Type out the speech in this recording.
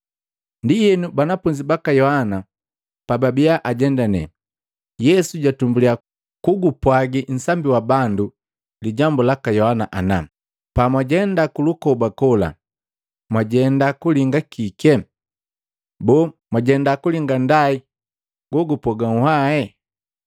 Ndienu, banafunzi baka Yohana pababiya ajendane, Yesu jatumbuliya kugupwagi nsambi wa bandu lijambu laka Yohana ana, “Pamwajenda kulukoba kola mwajenda kulinga kike? Boo, mwajenda kulinga nndai lolupoga nunhwae?